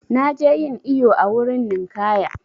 Na je yin iyo a wurin ninƙaya.